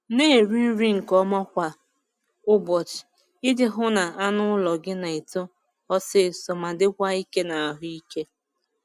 Na-eri nri nke ọma kwa ụbọchị iji hụ na anụ ụlọ gị na-eto ọsọ ọsọ ma dịkwa ike na ahụike.